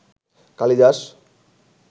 Kalidas